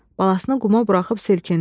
Balasını quma buraxıb silkindi.